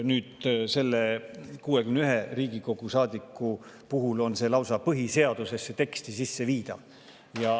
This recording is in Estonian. Nüüd selle 61 Riigikogu saadiku puhul viidaks see lausa põhiseaduse teksti sisse.